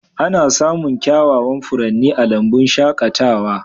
Ana samun kyawawan furanni a lambun shaƙatawa.